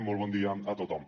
molt bon dia a tothom